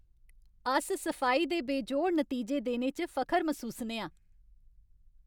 अस सफाई दे बेजोड़ नतीजे देने च फखर मसूसने आं ।